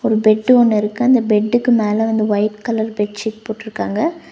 ஒரு பெட்டு ஒன்னிருக்கு அந்த பெட்டுக்கு மேல வந்து ஒயிட் கலர் பெட் ஷீட் போட்ருக்காங்க.